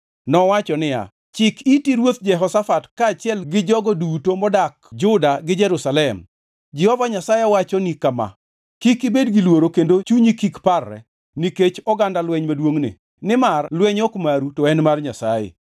Nowacho niya, “Chik iti in Ruoth Jehoshafat kaachiel gi jogo duto modak Juda gi Jerusalem! Jehova Nyasaye wachoni kama: ‘Kik ibed gi luoro kendo chunyi kik parre nikech oganda lweny maduongʼni, nimar lweny ok maru, to en mar Nyasaye.